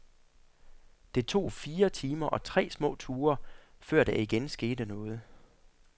Det tog fire timer og tre små ture, før der igen skete noget.